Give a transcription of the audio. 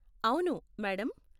అవును, మేడం.